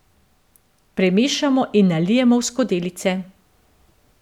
Premešamo in nalijemo v skodelice.